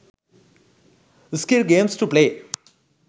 skill games to play